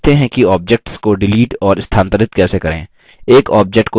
अब सीखते हैं कि objects को डिलीट और स्थानांतरित कैसे करें